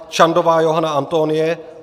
Čandová Johana Antonie